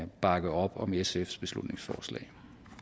bakke op om sfs beslutningsforslag